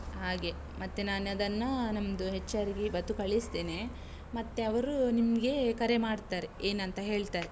ಹಾಗೆ, ಮತ್ತೆ ನಾನದನ್ನು ನಮ್ದುHR ಗೆ ಇವತ್ತು ಕಳಿಸ್ತೇನೆ, ಮತ್ತೆ ಅವ್ರು ನಿಮ್ಗೆ ಕರೆ ಮಾಡ್ತಾರೆ, ಏನಂತ ಹೇಳ್ತಾರೆ.